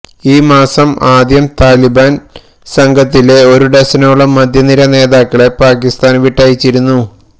ഈ മാസം ആദ്യം താലിബാന് സംഘത്തിലെ ഒരു ഡസനോളം മധ്യനിര നേതാക്കളെ പാക്കിസ്ഥാന് വിട്ടയച്ചിരുന്നു